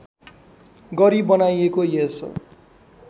गरी बनाइएको यस